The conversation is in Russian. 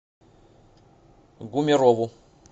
гумерову